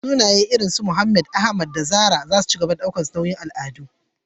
Sunaye irin su Abubakar, Ahmad, Amina, da Zarah za su ci gaba da ɗaukar nauyin al'adu.